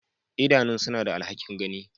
Idanun suna da alhakin gani.